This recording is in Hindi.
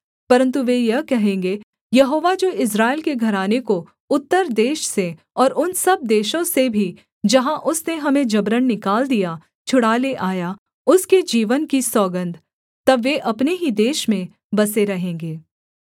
परन्तु वे यह कहेंगे यहोवा जो इस्राएल के घराने को उत्तर देश से और उन सब देशों से भी जहाँ उसने हमें जबरन निकाल दिया छुड़ा ले आया उसके जीवन की सौगन्ध तब वे अपने ही देश में बसे रहेंगे